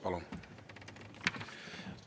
Palun!